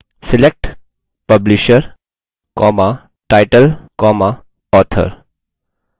select publisher title author